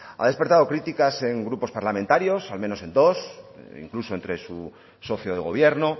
ha despertado críticas en grupos parlamentarios al menos en dos incluso entre su socio de gobierno